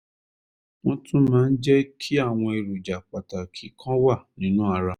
wọ́n tún máa ń jẹ́ kí àwọn èròjà pàtàkì kan wà nínú ara